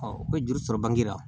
u bɛ juru sɔrɔ bange la